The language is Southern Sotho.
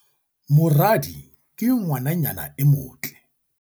moradi ke ngwananyana e motle